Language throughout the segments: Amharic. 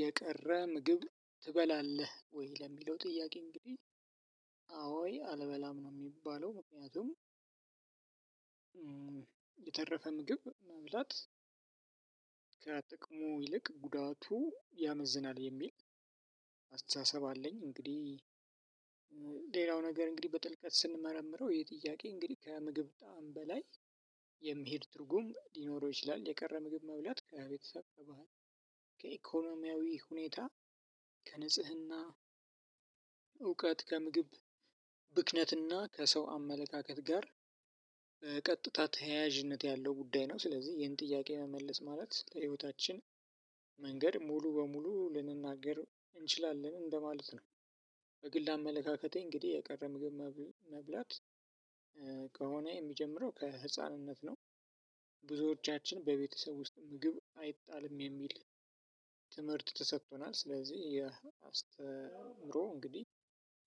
የቀረ ምግብ ትበላለህ ወይ ለሚለው ጥያቄ እንግዲህ አልበላም ነው ሚባለው ምክንያቱም። የተረፈ ምግብ መብላት ከጥቅሙ ይልቅ ጉዳቱ ያመዝናል የሚል አስተሳሰብ አለኝ እንግዲህ። ሌላው ነገር እንግዲህ በጥልቀት ስንመረምረው ይህ ጥያቄ እንግዲህ ከምግብ ጣዕም በላይ የሚሄድ ትርጉም ሊኖረው ይችላል። የቀረ ምግብ መብላት ከቤተሰብ ከባህል ከኢኮኖሚያዊ ሁኔታ ከንጽህና እውቀት ከምግብ ብክነት እና ከሰው አመለካከት ጋር ቀጥታ ተያያዥነት ያለው ጉዳይ ነው። ስለዚህ ይህን ጥያቄ መመለስ ማለት ለህይወታችን መንገድ ሙሉ ለሙሉ ልንናገር እንችላለን ማለት ነው። በግል አመለካከቴ እንግዲህ የቀረ ምግብ መብላት ከሆነ የሚጀምረው ከህፃንነት ነው። ብዙዎቻችን በቤተሰብ ውስጥ ምግብ አይጣልም የሚል ትምህርት ተሰቶናል ስለዚህ ይህ አስተምሮ እንግዲህ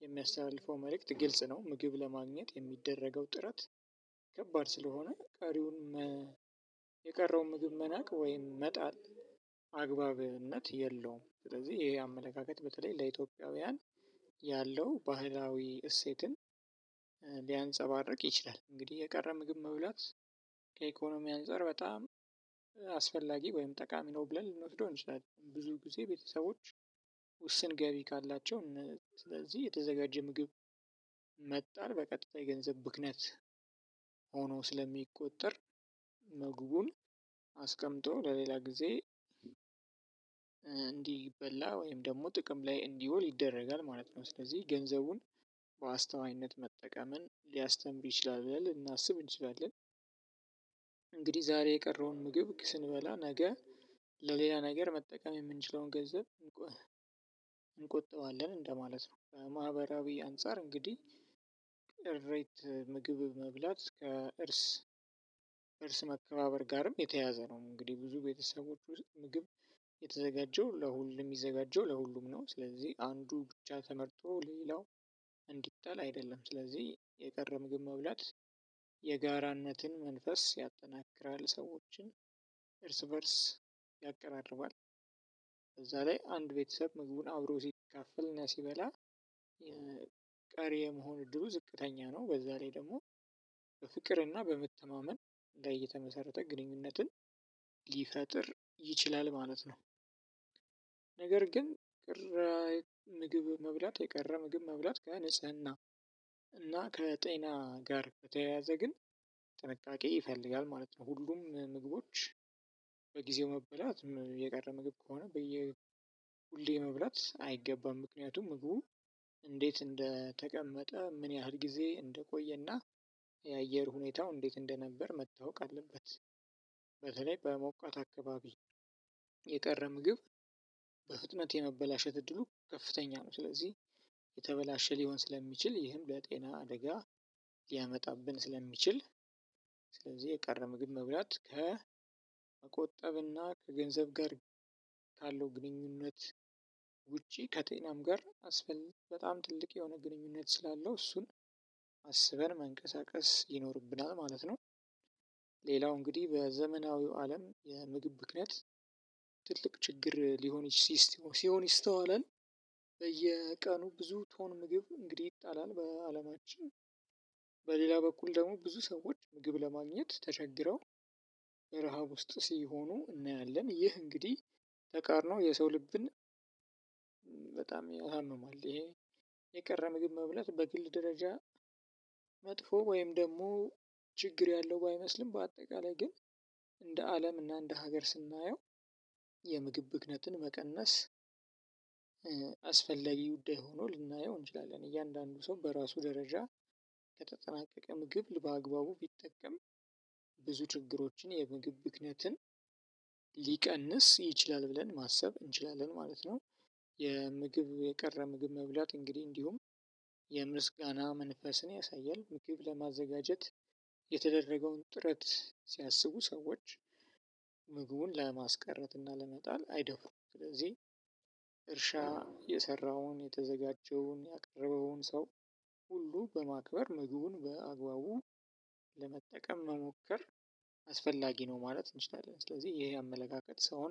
የሚያስተላልፈው መልክት ግልጽ ነው። ምግብ ለማግኘት ሚደረገው ጥረት ከባድ ስለሆነ ቀሪውን የቀረውን ምግብ መናቅ ወይም መጣል አግባብነት የለውም። ስለዚህ ይሄ አመለካከት በተለይ ለኢትዮጵያውያን ያለው ባህላዊ እሴትን ሊያንፀባርቅ ይችላል። እንግዲህ የቀረ ምግብ መብላት ከኢኮኖሚ አንፃር በጣም አስፈላጊ ወይም ጠቃሚ ነው ብለን ልንወስደው እንችላለን። ብዙ ጊዜ ቤተሰቦች ውስን ገቢ ካላቸው ስለዚህ የተዘጋጀ ምግብ መጣል በቀጥታ የገንዘብ ብክነት ሆኖ ስለሚቆጠር ምግቡን አስቀምጦ ለሌላ ጊዜ እንዲበላ ወይም ደግሞ ጥቅም ላይ እንዲወል ይደረጋል ማለት ነው። ስለዚህ ገንዘቡን በአስተዋይነት መጠቀምን ሊያስተምር ይችላል ብለን ልናስብ እንችላለን። እንግዲህ ዛሬ የቀረውን ምግብ ስንበላ ነገ ለሌላ ነገር መጠቀም የምንችለውን ገንዘብ እንቆጥባለን እንደማለት ነው። ማህበራዊ አንፃር እንግዲህ ምግብ መብላት ከእርስ እርስ መከባበር ጋርም የተያዘ ነው። እንግዲህ ብዙ ቤተሰቦች ውስጥ ምግብ የተዘጋጀው ለሁሉም የሚዘጋጀው ለሁሉም ነው ስለዚህ አንዱ ብቻ ተመርጦ ሌላው እንዲጣል አይደለም ስለዚህ የቀረ ምግብ መብላት የጋራነትን መንፈስ ያጠናክራል ሰዎችን እርስ በእርስ ያቀራርባል። በዛ ላይ አንድ ቤተሰብ ምግቡን አብሮ ሲካፈልና ሲበላ የ ቀሪ የመሆን እድሉ ዝቅተኛ ነው። በዛ ላይ ደግሞ በፍቅርና በመተማመን ላይ የተመሰረተ ግንኙነትን ሊፈጥር ይችላል ማለት ነው። ነገር ግን ምግብ መብላት የቀረ ምግብ መብላት ከንጽህና እና ከጤና ጋር ከተያያዘ ግን ጥንቃቄ ይፈልጋል ማለት ነው። ሁሉም ምግቦች በጊዜው መበላት የቀረ ምግብ ከሆነ በየ ሁሌ መብላት አይገባም ምክንያቱም ምግቡ እንዴት እንደተቀመጠ ምን ያህል ጊዜ እንደቆየና የአየር ሁኔታው እንዴት እንደነበር መታወቅ አለበት። በሞቃት አካባቢ የቀረ ምግብ በፍጥነት የመበላሸት እድሉ ከፍተኛ ነው። ስለዚህ የተበላሸ ሊሆን ስለሚችል ይህም ለጤና አደጋ ሊያመጣብን ስለሚችል ስለዚህ የቀረ ምግብ መብላት ከመቆጠብና ከገንዘብ ጋር ካለው ግንኙነት ውጪ ከጤናም ጋር አስፈልግ በጣም ትልቅ የሆነ ግንኙነት ስላለው እሱን አስበን መንቀሳቀስ ይኖርብናል ማለት ነው። ሌላው እንግዲህ በዘመናዊው አለም የምግብ ብክነት ትልቅ ችግር ሊሆን ሲሆን ይስተዋላል። በየቀኑ ብዙ ቶን ምግብ እንግዲህ ይጣላል በአለማችን በሌላ በኩል ደግሞ ብዙ ሰዎች ምግብ ለማግኘት ተቸግረው የረሃብ ውስጥ ሲሆኑ እናያለን። ይህ እንግዲህ ተቃርኖ የሰው ልብን በጣም ያሳምማል። ይሄ የቀረ ምግብ መብላት በግል ደረጃ መጥፎ ወይም ደግሞ ችግር ያለው ባይመስልም በአጠቃላይ ግን እንደ አለም እና እንደ ሀገር ስናየው የምግብ ብክነትን መቀነስ አስፈላጊ ጉዳይ ሆኖ ልናየው እንችላለን። እያንዳንዱ ሰው በራሱ ደረጃ ከተጠናቀቀ ምግብ በአግባቡ ቢጠቀም ብዙ ችግሮችን የምግብ ብክነትን ሊቀንስ ይችላል ብለን ማሰብ እንችላለን ማለት ነው። የምግብ የቀረ ምግብ መብላት እንግዲህ እንዲሁም የምስጋና መንፈስን ያሳያል። ምግብ ለማዘጋጀት የተደረገውን ጥረት ሲያስቡ ሰዎች ምግቡን ለማስቀረት እና ለመጣል አይደፍሩም። ስለዚህ እርሻ የሰራውን የተዘጋጀውን ያቀረበውን ሰው ሁሉ በማክበር ምግቡን በአግባቡ ለመጠቀም መሞከር አስፈላጊ ነው። ማለት እንችላለን ስለዚህ ይህ አመለካከት ሰውን